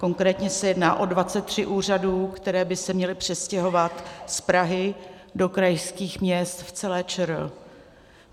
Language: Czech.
Konkrétně se jedná o 23 úřadů, které by se měly přestěhovat z Prahy do krajských měst v celé ČR.